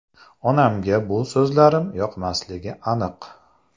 Onamga bu so‘zlarim yoqmasligi aniq”.